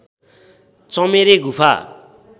चमेरे गुफा